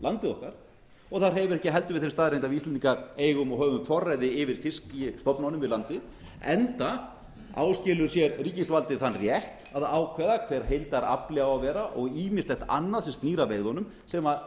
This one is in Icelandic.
landið okkar og það hreyfir ekki heldur við þeirri staðreynd að við íslendingar eigum og höfum forræði yfir fiskstofnunum við landið enda áskilur sér ríkisvaldið þann rétt að ákveða hver heildarafli á að vera og ýmislegt annað sem snýr að veiðunum sem